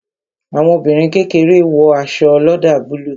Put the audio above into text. Àwọn ọmọbìnrin kékeré wo aṣọ oloda búlúù